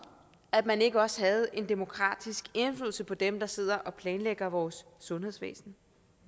at man ikke også havde en demokratisk indflydelse på dem der sidder og planlægger vores sundhedsvæsen